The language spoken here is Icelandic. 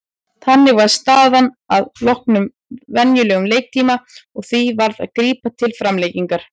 Þannig var staðan að loknum venjulegum leiktíma og því varð að grípa til framlengingar.